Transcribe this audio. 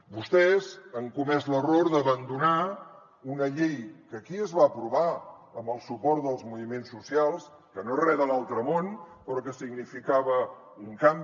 vostès han comès l’error d’abandonar una llei que aquí es va aprovar amb el suport dels moviments socials que no és res de l’altre món però que significava un canvi